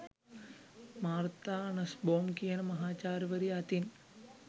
Martha Nussbaum කියන මහාචාර්යවරිය අතින්.